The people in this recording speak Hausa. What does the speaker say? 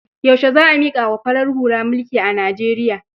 Yaushe za a miƙa wa farar hula mulki a Nijeriya?